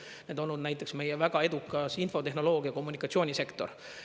Need on olnud näiteks meie väga edukas infotehnoloogia- ja kommunikatsioonisektor.